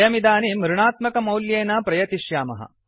वयमिदानीम् ऋणात्मकमौल्येन प्रयतिष्यामः